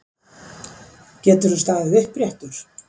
Geturðu staðið uppréttur?